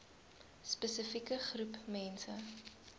spesifieke groep mense